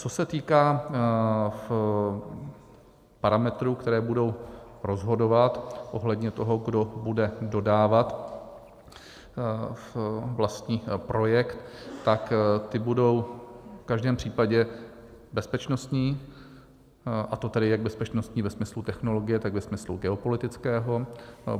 Co se týká parametrů, které budou rozhodovat ohledně toho, kdo bude dodávat vlastní projekt, tak ty budou v každém případě bezpečnostní, a to tedy jak bezpečnostní ve smyslu technologie, tak ve smyslu geopolitickém.